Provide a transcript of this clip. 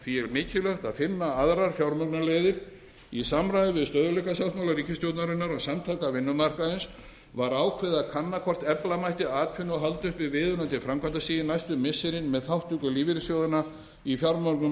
er mikilvægt að finna aðrar fjármögnunarleiðir í samræmi við stöðugleikasáttmála ríkisstjórnarinnar og samtaka vinnumarkaðarins var ákveðið að kanna hvort efla mætti atvinnu og halda uppi viðunandi framkvæmdastigi næstu missirin með þátttöku lífeyrissjóðanna í fjármögnun